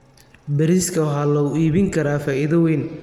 Bariiska waxaa lagu iibin karaa faa'iido weyn.